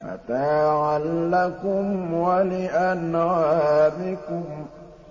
مَّتَاعًا لَّكُمْ وَلِأَنْعَامِكُمْ